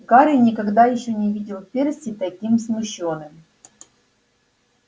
гарри никогда ещё не видел перси таким смущённым